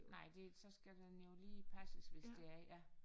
Nej det så skal den jo lige passes hvis det er ja